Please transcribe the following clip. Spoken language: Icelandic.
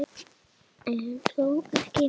En þó ekki.